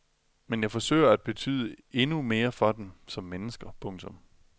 Men jeg forsøger at betyde endnu mere for dem som menneske. punktum